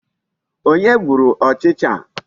Onye gburu ọchịcha a?